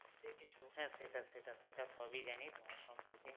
হ্যাঁ সেটা সেটা সেটা সবই জানি তোমার সম্পর্কে